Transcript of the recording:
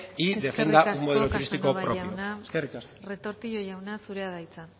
y defienda un modelo turístico propio eskerrik asko eskerrik asko casanova jauna retortillo jauna zurea da hitza